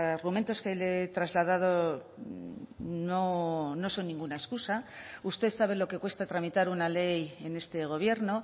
argumentos que le he trasladado no son ninguna escusa usted sabe lo que cuesta tramitar una ley en este gobierno